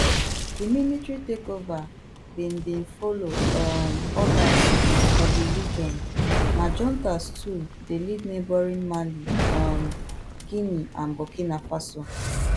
di military takeover bin bin follow um odas for di region na juntas too dey lead neighbouring mali um guinea and burkina faso